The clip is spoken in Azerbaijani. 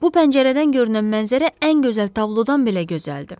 Bu pəncərədən görünən mənzərə ən gözəl tablodan belə gözəldir.